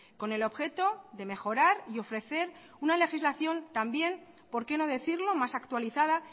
con el objeto de mejorar y ofrecer una legislación también por qué no decirlo más actualizada